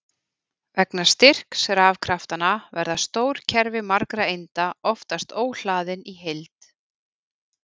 Vegna styrks rafkraftanna verða stór kerfi margra einda oftast óhlaðin í heild.